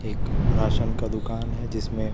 एक राशन का दुकान हैं जिसमें--